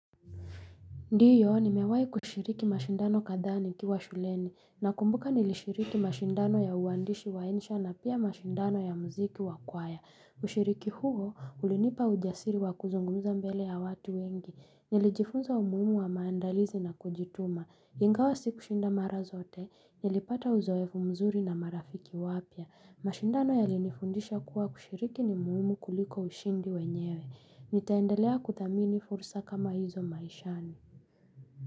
Ndiyo nimewai kushiriki mashindano kadhaa nikiwa shuleni nakumbuka nilishiriki mashindano ya uwandishi wa insha na pia mashindano ya muziki wa kwaya. Ushiriki huo ulinipa ujasiri wa kuzungumza mbele ya watu wengi. Nilijifunza umuhimu wa maandalizi na kujituma. Ingawa sikushinda mara zote. Nilipata uzoefu mzuri na marafiki wapya. Mashindano yalinifundisha kuwa kushiriki ni muhimu kuliko ushindi wenyewe. Nitaendelea kuthamini fursa kama hizo maishani.